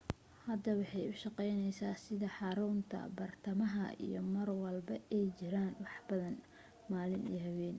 hadda waxay u shaqeyneysa sida xarunta bartamaha iyo marlwalba ay jiraan waxbadan malin iyo habeen